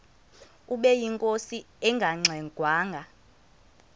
ubeyinkosi engangxe ngwanga